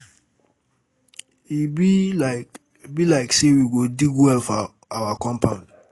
E be like be like say we go dig well for our compound